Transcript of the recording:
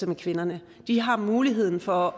med kvinderne de har muligheden for